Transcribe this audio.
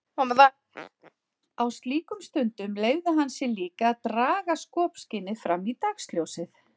Á slíkum stundum leyfði hann sér líka að draga skopskynið fram í dagsljósið.